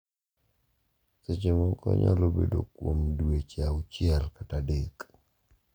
Seche moko onyalo bedo kuom dweche auchiel kata adek.